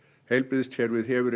heilbrigðiskerfið hefur